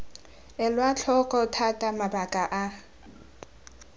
elwa tlhoko thata mabaka a